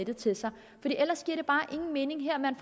det til sig ellers giver det bare ingen mening at man